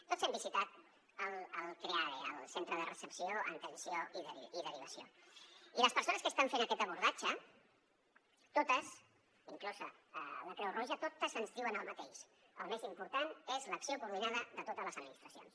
tots hem visitat el creade el centre de recepció atenció i derivació i les persones que estan fent aquest abordatge totes inclosa la creu roja ens diuen el mateix el més important és l’acció coordinada de totes les administracions